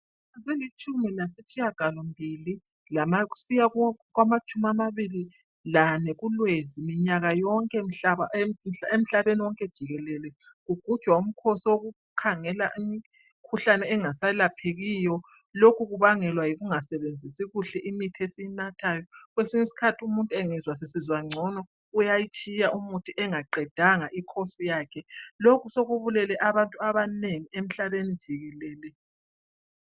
Zilitshimi lasitshiya galombili kusiya kumatshumi amabili lane kuLwezi minyaka yonke emhlabeni wonke jikelele kugujwa umkhosi wokukhangela imkhuhlane engaselaphekiyo. Lokhu kubangelwa yikungasebenzisi kuhle imithi esiyinathayo. Kwesinye iskhathi umuntu angezwa sesizwa ngcono uyatshiya umithi engaqedanga I khosi yakhe. Lokhu sekubulele abantu abanengi emhlabeni jikelele.